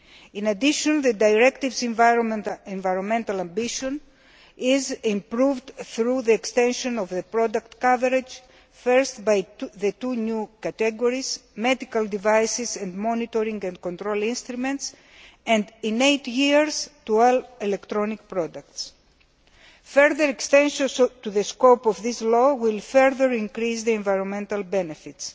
In addition, the directive's environmental ambition is improved through the extension of the product coverage, first by the two new categories medical devices and monitoring and control instruments and, in eight years, to all electronic products. Further extensions to the scope of this law will further increase the environmental benefits,